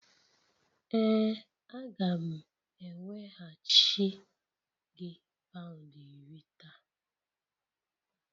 Ee a ga m eweghachi gị pound iri taa.